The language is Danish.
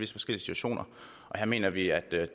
situationer og her mener vi at